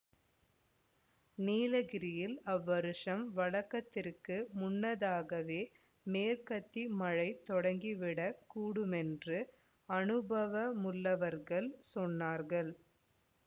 நீலகிரியில் அவ்வருஷம் வழக்கத்திற்கு முன்னதாகவே மேற்கத்தி மழை தொடங்கிவிடக் கூடுமென்று அநுபவமுள்ளவர்கள் சொன்னார்கள்